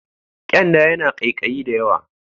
Kyanda yana ƙaiƙayi da yawa.